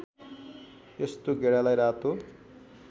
यस्तो गेडालाई रातो